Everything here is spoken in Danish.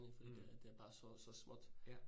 Mh. Ja